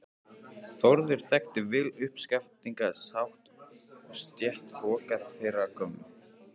Þórður þekkti vel uppskafningshátt og stéttahroka þeirrar gömlu